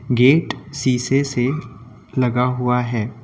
Gate शीशे से लगा हुआ है।